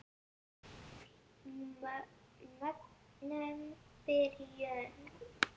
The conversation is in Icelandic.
Mögnuð byrjun.